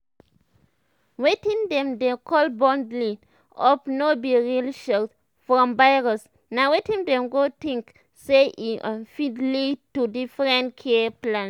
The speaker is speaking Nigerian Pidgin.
wetin dem dey call bundling up no be real shield from virus na wetin dem go tink say e um fit lead to diff'rent care plans.